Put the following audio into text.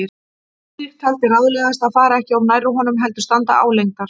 Friðrik taldi ráðlegast að fara ekki of nærri honum, heldur standa álengdar.